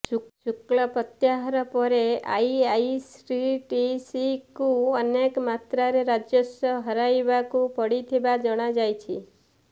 ଶୁଳ୍କ ପ୍ରତ୍ୟାହାର ପରେ ଆଇଆର୍ସିଟିସିକୁ ଅନେକ ମାତ୍ରାରେ ରାଜସ୍ୱ ହରାଇବାକୁ ପଡିଥିବା ଜଣାଯାଇଛି